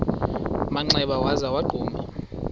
manxeba waza wagquma